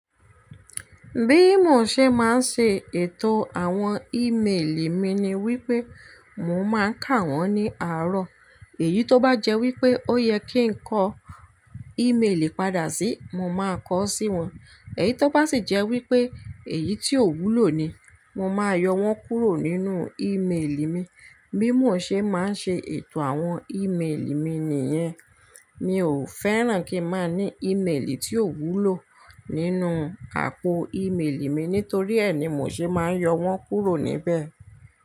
Bí mo ṣe máa ń ṣe ètò àwọn ímeèlì mi ni wípé, mo máa ń kà wọ́n ní àárọ̀. Èyí tó bá jẹ́ wípé ó yẹ kí n kọ́ ímeèlì padà sí, mo máa kọ sí wọn. Èyí tó bá sì jẹ́ wípé èyí tí ò wúlò ni, mo máa yọ wọ́n kúrò nínú ímeèlì mi. Bí mo ṣe máa ń ṣe ètò àwọn ímeèlì mi nìyẹn. Mi ò fẹ́ràn kí n máa ní ímeèlì tí ò wúlò nínú àpò ímeèlì mi nítorí ẹe ni mo se máa ń yọ wọ́n kúrò níbẹ̀.